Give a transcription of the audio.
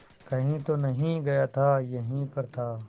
कहीं तो नहीं गया था यहीं पर था